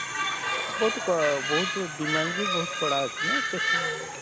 ହଁ ବହୁତ କ ବହୁତ demand ବି ବହୁତ କଡା ଅଛେ ନା ଏତେ ସେ,